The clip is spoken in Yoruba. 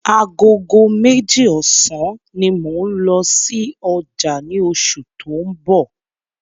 Agogo meji ọ̀sán ní mò n lọ sí ọjà ni oṣù tó ń bọ̀